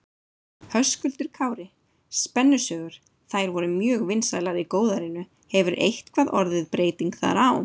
Höskuldur Kári: Spennusögur, þær voru mjög vinsælar í góðærinu, hefur eitthvað orðið breyting þar á?